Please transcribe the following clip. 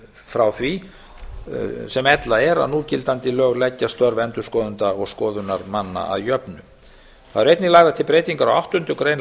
frá því sem ella er að núgildandi lög leggja störf endurskoðenda og skoðunarmanna að jöfnu það eru einnig lagðar til breytingar á áttundu grein